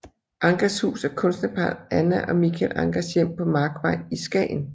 Anchers Hus er kunstnerparret Anna og Michael Anchers hjem på Markvej i Skagen